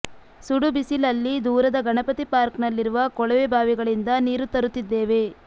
ಸುಡು ಬಿಸಿಲಲ್ಲಿ ದೂರದ ಗಣಪತಿ ಪಾರ್ಕ್ನಲ್ಲಿರುವ ಕೊಳವೆ ಬಾವಿಗಳಿಂದ ನೀರು ತರುತ್ತಿದ್ದೇವೆ